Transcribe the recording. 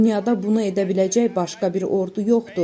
Dünyada bunu edə biləcək başqa bir ordu yoxdur.